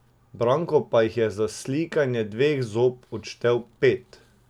Branko pa jih je za slikanje dveh zob odštel pet.